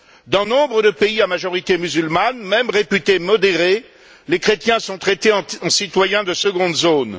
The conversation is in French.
Dans nombre de pays à majorité musulmane, même réputés modérés, les chrétiens sont traités en citoyens de seconde zone.